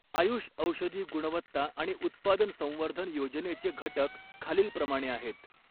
आयुष औषधी गुणवत्ता आणि उत्पादन संवर्धन योजनेचे घटक खालीलप्रमाणे आहेत